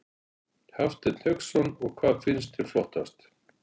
Hafsteinn Hauksson: Og hvað fannst þér flottast?